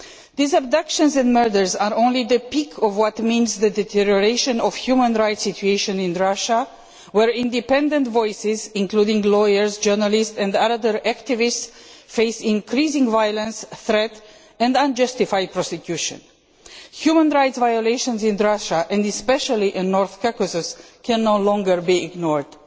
These abductions and murders are only the peak of what results from the deterioration of the human rights situation in Russia, where independent voices, including lawyers, journalists and other activists, face increasing violence, threats and unjustified prosecution. Human rights violations in Russia, and especially in North Caucasus, can no longer be ignored.